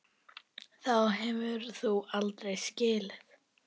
Þá hefur þú aldrei skilið.